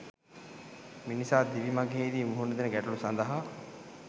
මිනිසා දිවි මඟෙහිදී මුහුණ දෙන ගැටලු සඳහා